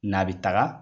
N'a bɛ taga